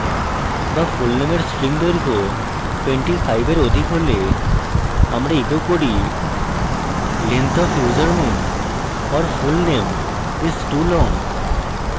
বা fullname string দৈর্ঘ্য 25 or অধিক হলে আমরা echo করি length of username or fullname is too long!